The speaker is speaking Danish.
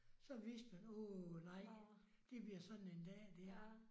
Så vidste man åh nej det bliver sådan en dag der